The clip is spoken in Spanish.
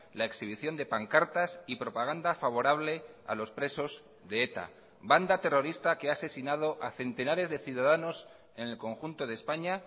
la exhibición de pancartas y propaganda favorable a los presos de eta banda terrorista que ha asesinado a centenares de ciudadanos en el conjunto de españa